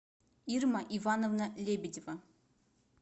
ирма ивановна лебедева